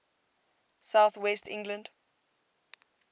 south west england